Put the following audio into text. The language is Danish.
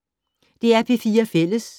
DR P4 Fælles